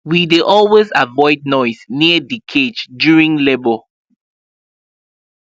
we dey always avoid noise near the cage during labour